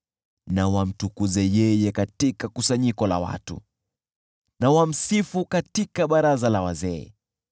Na wamtukuze yeye katika kusanyiko la watu, na wamsifu katika baraza la wazee.